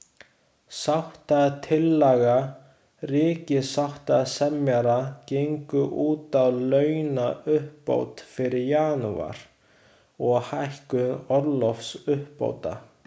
Sáttatillaga ríkissáttasemjara gengur út á launauppbót fyrir janúar, og hækkun orlofsuppbóta.